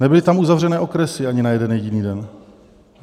Nebyly tam uzavřeny okresy ani na jeden jediný den.